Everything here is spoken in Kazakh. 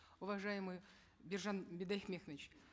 уважаемый биржан бидайбекович